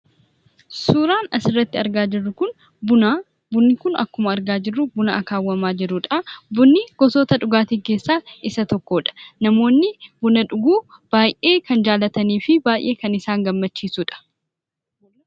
Suuraan asirratti argaa jirru kun Buna. Bunni kun akkuma argaa jirru buna akaawwamaa jirudha. Bunni gosoota dhugaatii keessaa isa tokkodha. Namoonni buna dhuguu kanneen jaallatanii fi baay'ee kan isaan gammachiisudha.